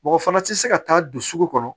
Mɔgɔ fana tɛ se ka taa don sugu kɔnɔ